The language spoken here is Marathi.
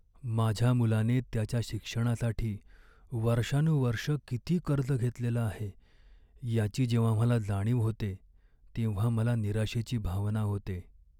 माझ्या मुलाने त्याच्या शिक्षणासाठी वर्षानुवर्षं किती कर्ज घेतलेलं आहे याची जेव्हा मला जाणीव होते तेव्हा मला निराशेची भावना होते.